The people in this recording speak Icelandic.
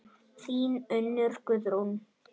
Þín Unnur Guðrún.